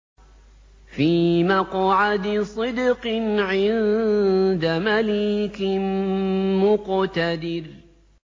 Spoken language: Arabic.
فِي مَقْعَدِ صِدْقٍ عِندَ مَلِيكٍ مُّقْتَدِرٍ